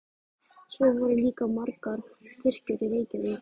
Svo voru líka margar kirkjur í Reykjavík.